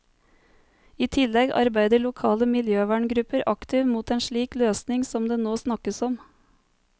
I tillegg arbeider lokale miljøverngrupper aktivt mot en slik løsning som det nå snakkes om.